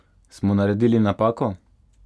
Smo naredili napako?